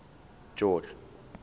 george